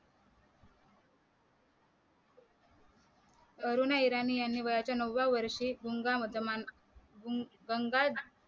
अरुणा इराणी यांनी वयाच्या नवव्या वर्षी गुंगा मत मा न गं गंगा